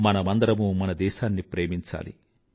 మనమందరమూ మన దేశాన్ని ప్రేమించాలి